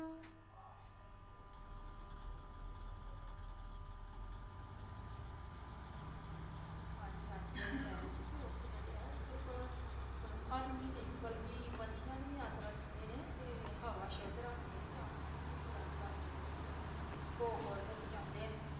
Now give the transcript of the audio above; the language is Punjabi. ਹਾਂਜੀ ਹਾਂਜੀ ਇਹ ਕਹਿ ਰਹੇ ਸੀ ਕਿ ਰੁੱਖ ਜਿਹੜੇ ਆ ਉਹ ਸਿਰਫ਼ ਮਨੁੱਖਾਂ ਨੂੰ ਹੀ ਨਹੀਂ ਬਲਕਿ ਪੰਛੀਆਂ ਨੂੰ ਵੀ ਆਸਰਾ ਦਿੰਦੇ ਨੇ, ਤੇ ਹਵਾ ਸੁੱਧ ਰੱਖਦੇ ਨੇ ਤੇ ਆਕਸੀਜਨ ਵੀ ਪ੍ਰਦਾਨ ਕਰਦੇ ਨੇ, ਭੂ-ਖੋਰ ਤੋਂ ਬਚਾਉਂਦੇ ਨੇ